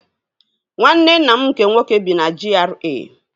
Nwanne nna m nke nwoke bi na GRA